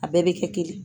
A bɛɛ bɛ kɛ kelen ye